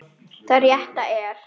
Það rétta er.